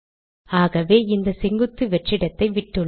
ஆகவே இந்த செங்குத்து வெற்றிடத்தை விட்டுள்ளேன்